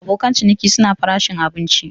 Abokin ciniki suna farashin abinci.